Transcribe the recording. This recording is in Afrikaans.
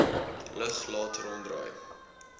lug laat ronddraai